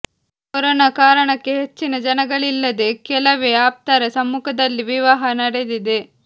corona ಕಾರಣಕ್ಕೆ ಹೆಚ್ಚಿನ ಜನಗಳಿಲ್ಲದೆ ಕೆಲವೇ ಆಪ್ತರ ಸಮ್ಮುಖದಲ್ಲಿ ವಿವಾಹ ನಡೆದಿದೆ